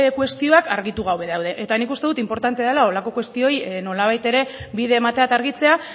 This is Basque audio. kuestioak argitu gabe daude eta nik uste dut inportante dala holako kuestioei nolabait ere bide ematea eta argitzea